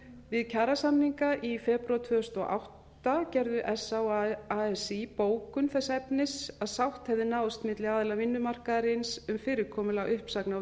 við kjarasamninga í febrúar tvö þúsund og átta gerðu sa og asi bókun þess efnis að sátt hefði náðst milli aðila vinnumarkaðarins um fyrirkomulag uppsagna